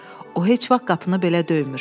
O heç vaxt qapını belə döymür”.